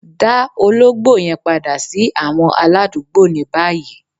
Dá òlògbò yẹn padà sí àwọn aládùgbọ̀ ní báyì